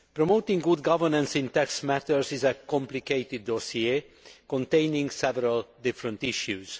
Promoting good governance in tax matters is a complicated dossier containing several different issues.